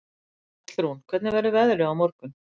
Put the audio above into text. Hallrún, hvernig verður veðrið á morgun?